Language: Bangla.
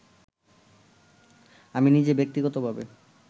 আমি নিজে ব্যক্তিগতভাবে